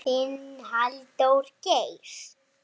Þetta eru bara töfrar.